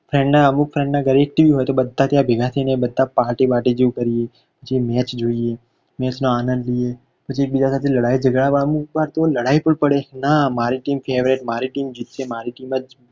friend ના અમુક friend ના ઘરે એક tv હોય તો બધા ત્યાં ભેગા થયને બધા ત્યાં party બાટી જેવુ કરીએ પછી match જોઈએ match નો આનંદ લઈએ પછી એકબીજા સાથે લડાઈ જગડા વાળું અમુક વાર તો લડાઈ પણ પડે ના મારી team favourite મારી team જીતશે મારી team જ